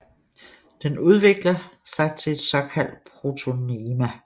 Den udvikler sig til et såkaldt protonema